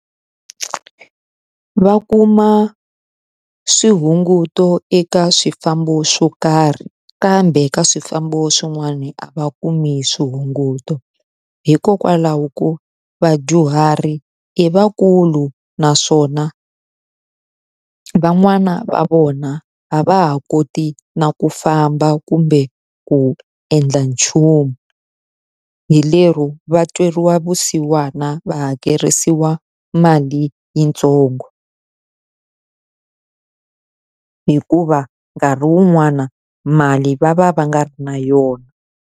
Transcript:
Va kuma swihunguto eka swifambo swo karhi, kambe ka swifambo swin'wani a va kumi swihunguto. Hikokwalaho ko vadyuhari i vakulu naswona van'wana va vona a va ha koti na ku famba kumbe ku endla nchumu, hi lero va tweriwa vusiwana va hakerisiwa mali yitsongo hikuva nkarhi wun'wana mali va va va nga ri na yona.